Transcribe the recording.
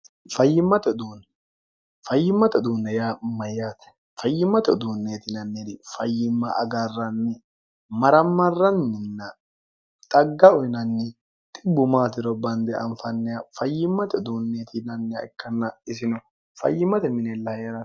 fayyimmate uduunne yaa mayyaate fayyimmate uduunneetinanniri fayyimma agarranni marammarranninna xagga uyinanni xibbu maatiro bande anfanniha fayyimmate uduunneetinnnia ikkanna isino fayyimmate minella hee'ro